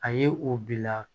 A ye o bila